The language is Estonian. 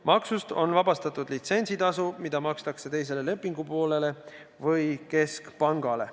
Maksust on vabastatud litsentsitasu, mida makstakse teisele lepingupoolele või keskpangale.